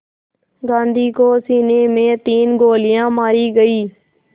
गांधी को सीने में तीन गोलियां मारी गईं